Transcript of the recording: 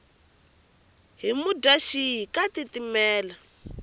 hi mudyaxihi ka tiitimela